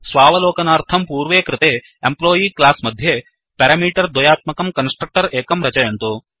स्वावलोकनार्थं पूर्व कृते employee class मध्ये पेरामीटर् द्वयात्मकं कन्स्ट्रक्टर् एकं रचयन्तु